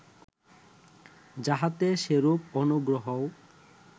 যাহাতে সেরূপ অনুগ্রহও